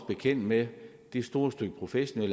bekendt med